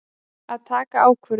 Að taka ákvörðun.